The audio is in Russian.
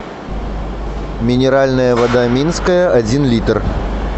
минеральная вода минская один литр